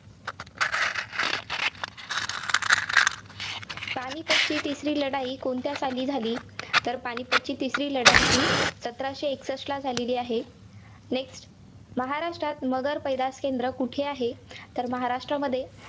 पानीपतची तिसरी लढाई कोणत्या साली झाली? तर पानीपतची तिसरी लढाई ही सतराशे एकसष्ठ साली झालेली आहे. Next महाराष्ट्रात मगर पैदास केंद्र कुठे आहे? तर महाराष्ट्रामध्ये